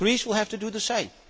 Greece will have to do the same.